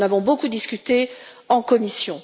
Nous en avons beaucoup discuté en commission.